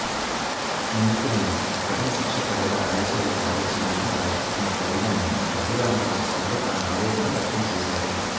నిందితులను కఠిన శిక్షపడేలా ఆదేశాలు జారీ చేయాలని రాష్ట్రపతిని కోరుదాం అని రఘురామరాజు సభలో తన ఆవేదనను వ్యక్తం చేశారు